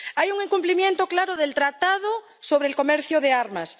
Hay un incumplimiento claro del Tratado sobre el Comercio de Armas.